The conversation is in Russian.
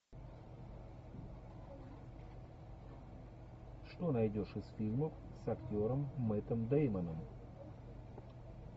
что найдешь из фильмов с актером мэттом дэймоном